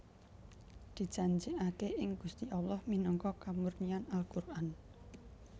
Dijanjikake ing Gusti Allah minangka kamurnian Al Quran